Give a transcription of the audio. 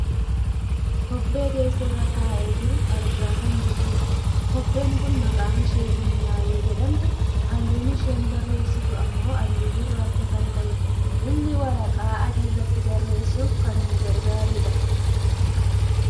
kobbee teessoo irra taa'ee jiru argaa kan jirrudha. kobbeen kun maqaan ishee bunnaa yoo jedhamtu halluun isheen barreessitu ammoo halluu gurracha kan ta'edha. inni waraqaa adii irratti barreessuuf kan nu gargaarudha.